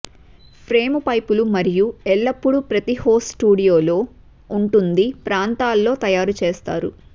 frame పైపులు మరియు ఎల్లప్పుడూ ప్రతి హోస్ట్ స్టూడియోలో ఉంటుంది ప్రాంతాల్లో తయారు చేస్తారు